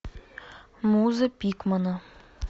муза пикмана